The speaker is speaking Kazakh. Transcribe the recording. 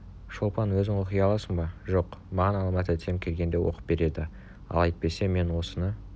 шолпан өзің оқи аласың ба жоқ маған алма тәтем келгенде оқып береді ал әйтпесе мен осыны